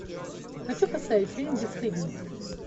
хочу поставить фильм бесстыдники